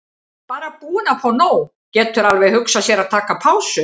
Bara búinn að fá nóg, getur alveg hugsað sér að taka pásu.